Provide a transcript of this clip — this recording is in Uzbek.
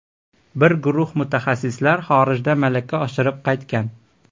Bir guruh mutaxassislar xorijda malaka oshirib qaytgan.